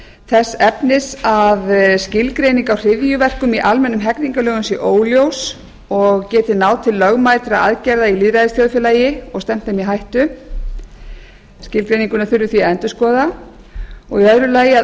þess efnis að a skilgreining á hryðjuverkum í almennum hegningarlögum sé óljós og geti náð til lögmætra aðgerða í lýðræðisþjóðfélagi og stefnt þeim í hættu þannig að skilgreininguna þurfi að endurskoða b